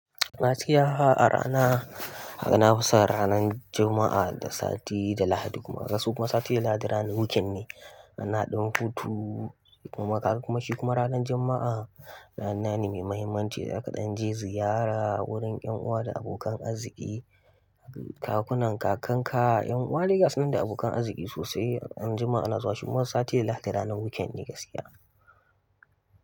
Gaskiya a rana, kaga na fison ranan Juma'a da sati da Lahadi kuma. Kasan kuma sati da Lahadi ranar weekend ne. Ana ɗan hutu, kuma kaga kuma shi kuma ranan Juma'a rana ne mai mahimmanci da zaka ɗan je ziyara, wurin ƴan uwa da abokan arziki, kakunan, kakanka, ƴan uwa dai gasunan da abokan arziƙi sosai. Ran Juma'a ana zuwa, shi kuma sati da Lahadi ranan weekend ne gaskiya.